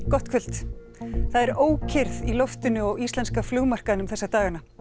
gott kvöld það er ókyrrð í loftinu á íslenska flugmarkaðnum þessa dagana